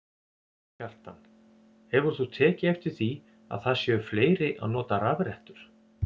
Kjartan: Hefur þú tekið eftir því að það séu fleiri að nota rafrettur?